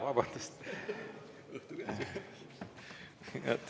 Vabandust!